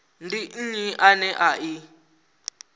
ndi nnyi ane a i